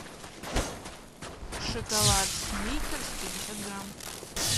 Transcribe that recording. шоколад сникерс пятьдесят грамм